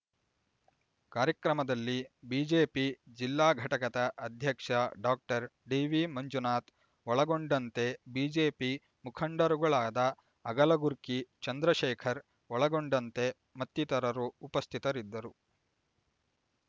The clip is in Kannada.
ಕಾರ್ಯಕ್ರಮದಲ್ಲಿ ಬಿಜೆಪಿ ಜಿಲ್ಲಾಘಟಕದ ಅಧ್ಯಕ್ಷ ಡಾಕ್ಟರ್ ಡಿವಿ ಮಂಜುನಾಥ್ ಒಳಗೊಂಡಂತೆ ಬಿಜೆಪಿ ಮುಖಂಡರುಗಳಾದ ಅಗಲಗುರ್ಕಿ ಚಂದ್ರಶೇಖರ್ ಒಳಗೊಂಡಂತೆ ಮತ್ತಿತರರು ಉಪಸ್ಥಿತರಿದ್ದರು